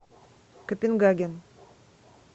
копенгаген